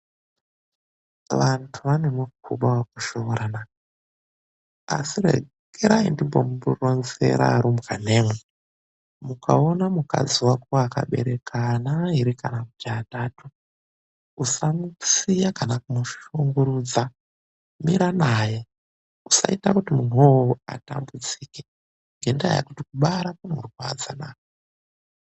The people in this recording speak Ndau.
Vantu vane muxuba wekushoora na! Asi rekerai ndimbomuronzera arumbwanemwi. Mukaona mukadzi wako akabereka ana airi kana kuti atatu, usamusiya kana kumushungurudza. Mira naye, usaita kuti munhu wo uwowo atambudzike, ngendaa yekuti kubara kunorwadza na!